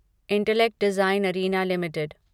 intellect design arena limited